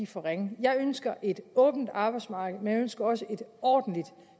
for ringe jeg ønsker et åbent arbejdsmarked men jeg ønsker også et ordentligt